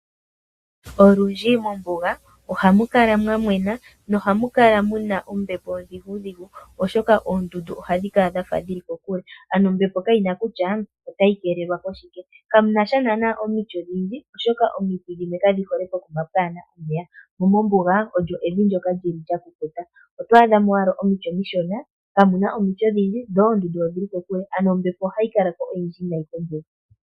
Olundji mombuga ohamu kala mwa mwena nohamu kala muna ombepo ondhigudhigu oshoka oondundu ohadhi kala dhafa dhili kokule ano ombepo kayina kutya otayi keelelwa koshike. Kamunasha naanaa omiti odhindji oshoka omiti dhimwe kadhi hole pokuma kaapuna omeya momombuga olyo evi ndoka li li lyakukuta . Oto adhamo owala omiti omishona kamuna omiti odhindji dho oondundu odhili kokule ano ombepo ohayi kala ko oyindji nayi mombuga.